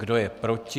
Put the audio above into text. Kdo je proti?